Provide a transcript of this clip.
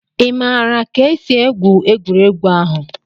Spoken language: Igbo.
Ị maara ka esi egwu egwuregwu ahụ?